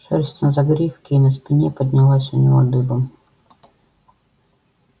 шерсть на загривке и на спине поднялась у него дыбом